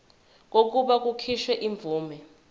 kokuba kukhishwe imvume